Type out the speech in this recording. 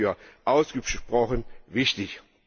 Ich halte das für ausgesprochen wichtig.